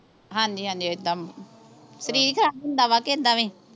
ਹਾਂਜੀ ਹਾਂਜੀ ਐਦਾਂ ਸਰੀਰ ਖਰਾਬ ਹੁੰਦਾ ਵਾ ਕੇ ਐਦਾਂ ਵੀ